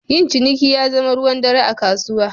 Yin ciniki ya zama ruwan dare a kasuwa.